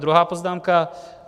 Druhá poznámka.